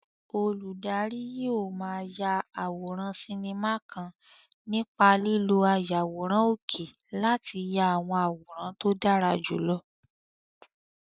Olùdarí yóò máa ya eré sinimá kan nípa lílo ayàwòrán òkè láti ya àwọn àwòrán tó dára jùlọ.